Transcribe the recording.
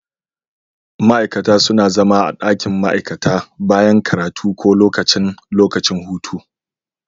Ma'aikata suna zama a ɗakin ma'aikata bayan karatu ko lokacin lokacin hutu.